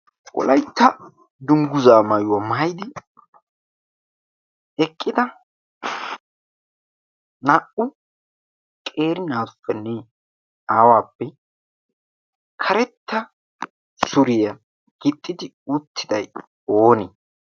wolaitta dungguzaa maayuwaa maayidi eqqida naa77u qeri naafennee aawaappe karetta suriyaa gixxidi uuttidai oonii?